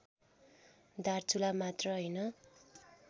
दार्चुला मात्र होइन